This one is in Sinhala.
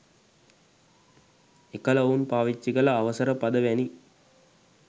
එකල ඔවුන් පාවිච්චිකල අවසර පද වැනි